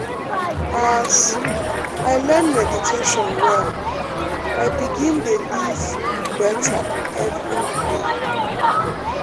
as um i learn meditation well i begin de um live better every um day.